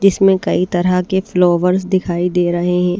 जिसमें कई तरह के फ्लावर्स दिखाई दे रहे हैं।